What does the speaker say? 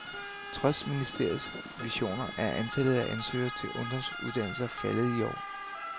Trods ministerens visioner er antallet af ansøgere til ungdomsuddannelser faldet i år.